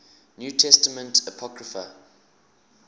new testament apocrypha